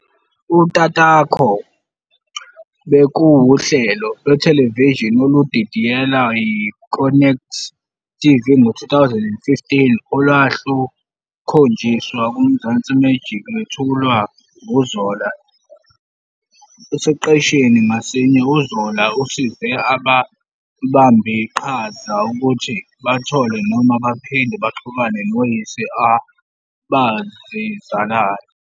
"Utatakho bekuwuhlelo" lwethelevishini oludidiyelwe yi-Connect TV ngo-2015 olwalukhonjiswa kuMzansi Magic lwethulwa nguZola. Esiqeshini ngasinye uZola usize ababambiqhaza ukuthi bathole noma baphinde baxhumane noyise abazizalayo.